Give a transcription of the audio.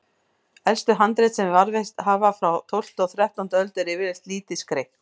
Elstu handrit sem varðveist hafa, frá tólftu og þrettándu öld, eru yfirleitt lítið skreytt.